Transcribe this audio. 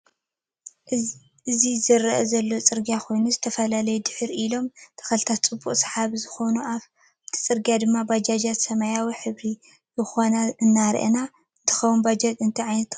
እዚ ዝርኣ ዘሎ ፅርግያ ኮይኑ ዝተፈላለዩ ድሕሪ ድሕሪ ኢሎም ተክሊታት ፅቡቅ ሳሓቢ ዝኮኑ ኣፍቲ ፅርግያ ድማ ባጃጅ ሰማያዊ ሕብሪ ዝኮነት ዝረኣያና እንትከውን በጃጅ እንታይ ዓይነት ጥቅሚ ኣለዎ?